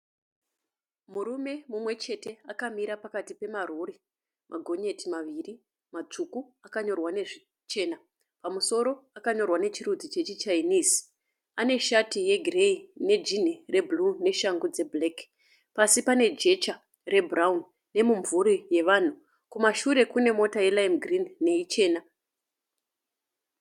Murume mumweshete akamira pakati pemarori ma gonyeti maviri masvuku akanyorwa nezvishena pamusoro akanyorwa nechirudzi chechi chinnese. Aneshati yegireyi nejini re bhuru, neshangu dze black, pasi panejesha re bhurawuni nemimvhuri yevanhu. Kumashure kunemota yelime girini ne ichena.